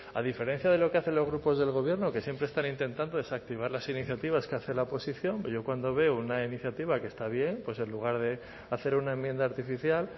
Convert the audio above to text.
a diferencia de lo que hacen los grupos del gobierno que siempre están intentando desactivar las iniciativas que hace la oposición yo cuando veo una iniciativa que está bien pues en lugar de hacer una enmienda artificial